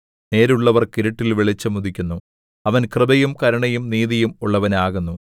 നേരുള്ളവർക്ക് ഇരുട്ടിൽ വെളിച്ചം ഉദിക്കുന്നു അവൻ കൃപയും കരുണയും നീതിയും ഉള്ളവനാകുന്നു